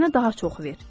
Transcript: Mənə daha çox ver.